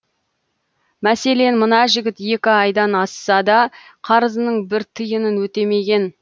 мәселен мына жігіт екі айдан асса да қарызының бір тиынын өтемеген